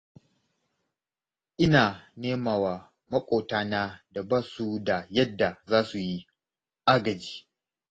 Ina nema wa maƙotana da ba su da yadda za su yi agaji.